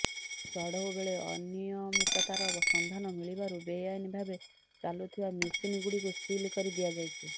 ଚଢ଼ଉବେଳେ ଅନିୟମିତତାର ସନ୍ଧାନ ମିଳିବାରୁ ବେଆଇନ ଭାବେ ଚାଲୁଥିବା ମେସିନ୍ଗୁଡ଼ିକୁ ସିଲ୍ କରି ଦିଆଯାଇଛି